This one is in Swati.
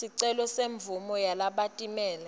sicelo semvumo yalabatimele